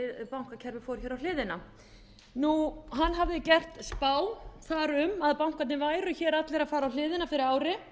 bankakerfið fór á hliðina hann hafði gert spá þar um að bankarnir væru allir að fara á hliðina fyrir ári